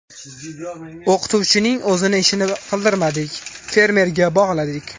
O‘qituvchining o‘zini ishini qildirmadik, fermerga bog‘ladik.